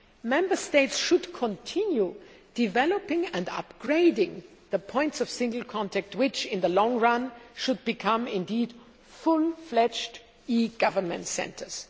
Member States should continue developing and upgrading the points of single contact which, in the long run, should become fully fledged e government centres.